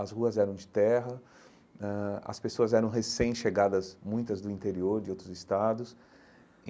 As ruas eram de terra, ãh as pessoas eram recém-chegadas, muitas do interior, de outros estados.